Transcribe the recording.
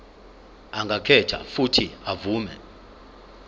angakhetha uuthi avume